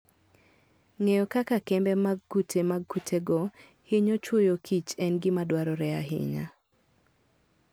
Ng'eyo kaka kembe mag kute mag kutego hinyo chwoyokich en gima dwarore ahinya.